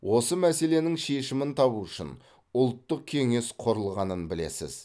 осы мәселенің шешімін табу үшін ұлттық кеңес құрылғанын білесіз